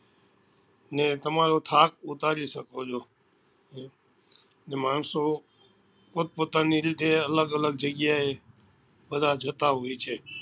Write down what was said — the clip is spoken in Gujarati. ને તમારો થાક ઉતારી શકો છો ને માણસો પોતપોતાની રીતે અલગ અલગ જગ્યા એ બધા જતા હોય છે